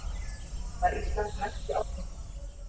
Var Ísland næsti áfanginn?